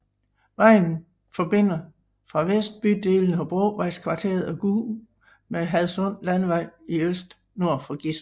Vejen forbinder fra vest bydelene Hobrovejskvarteret og Gug med Hadsund Landevej i øst nord for Gistrup